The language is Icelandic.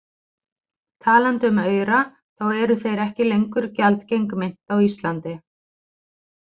Talandi um aura, þá eru þeir ekki lengur gjaldgeng mynt á Íslandi.